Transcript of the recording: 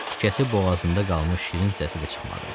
Tikəsi boğazında qalmış şirin səsi də çıxmadı.